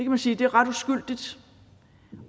man sige er ret uskyldigt